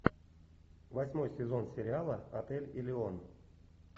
восьмой сезон сериала отель элеон